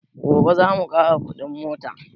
Gobe zamu ƙara kuɗin mota